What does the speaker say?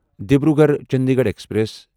Dibrugarh Chandigarh express